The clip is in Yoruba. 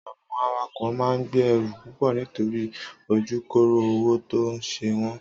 Àwon àwàkó maà ń gbẹ ẹrú púpọ nitori ojukoro owo ton se won